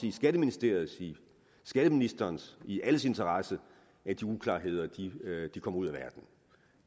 i skatteministeriets skatteministerens i alles interesse at de uklarheder kommer ud